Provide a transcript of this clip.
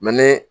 ni